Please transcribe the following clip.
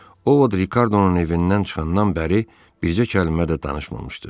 O Vot Rikardonun evindən çıxandan bəri bircə kəlmə də danışmamışdı.